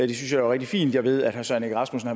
jo er rigtig fint jeg ved at herre søren egge rasmussen